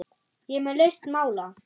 Ég er með lausn mála!